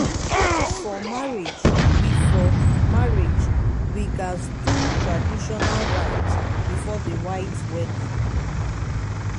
for marriage we for marriage we gats do traditional rites before the white wedding.